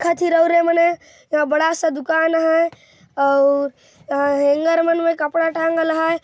इंहा बड़ा सा दुकान है आउ हैंगर मन मे कपड़ा टाँगल हय।